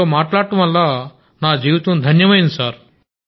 మీతో మాట్లాడటం వల్ల నా జీవితం ధన్యమైంది